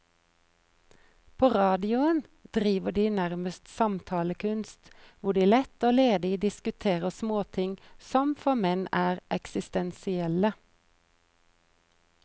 På radioen driver de nærmest samtalekunst, hvor de lett og ledig diskuterer småting som for menn er eksistensielle.